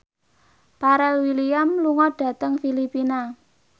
Pharrell Williams lunga dhateng Filipina